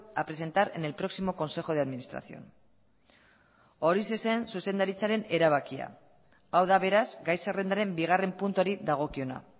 a presentar en el próximo consejo de administración horixe zen zuzendaritzaren erabakia hau da beraz gai zerrendaren bigarren puntuari dagokiona